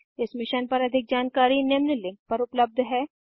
इस मिशन पर अधिक जानकारी निम्न लिंक पर उपलब्ध है